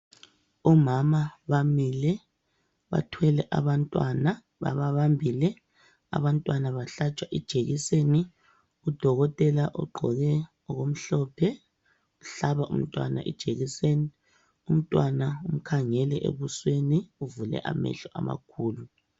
Omama bamile bathwele abantwana bababambile abantwana bahlatshwa ijekiseni. Udokotela ugqoke okumhlophe, uhlaba umntwana ijekiseni, umntwana umkhangele ebusweni uvule amehlo amakhulu.